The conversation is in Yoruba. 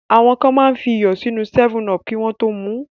Àwọn kan máa ń fi iyọ̀ sínú 7up kí wọ́n tó mu ú.